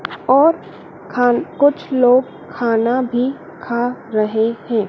और खान कुछ लोग खाना भी खा रहे है।